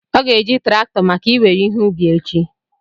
Ọ ga-eji traktọ maka I nwere ihe ubi echi